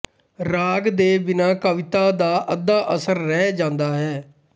ਰਾਗ ਦੇ ਬਿਨਾਂ ਕਵਿਤਾ ਦਾ ਅੱਧਾ ਅਸਰ ਰਹਿ ਜਾਂਦਾ ਹੈ